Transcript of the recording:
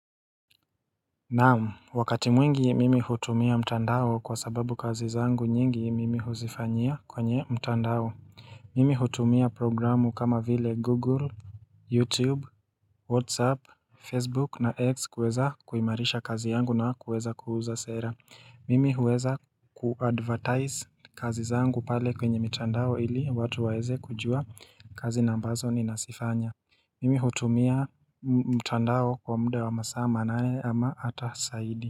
Naam wakati mwingi mimi hutumia mtandao kwa sababu kazi zangu nyingi mimi huzifanyia kwenye mtandao Mimi hutumia programu kama vile google, youtube, whatsapp, facebook na x kuweza kuimarisha kazi yangu na kuweza kuuza sera Mimi huweza kuadvertize kazi zangu pale kwenye mitandao ili watu waeze kujua kazi nambazo ni nasifanya Mimi hutumia mtandao kwa muda wa masaa manane ama hata zaidi.